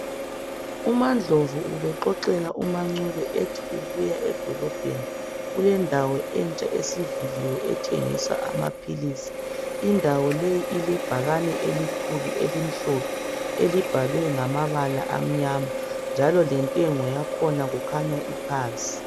Umandlovu bexoxela umagumbo ukuthi edolobheni kulendawo entsha esithengisa amaphilisi ,ilebhakane elikhulu elibhalwe ngamabala amnyama lamhlophe njalo lentengo yakhona iphansi.